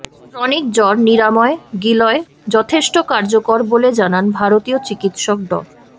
chronic জ্বর নিরাময়ে গিলয় যথেষ্ট কার্যকর বলে জানান ভারতীয় চিকিৎসক ড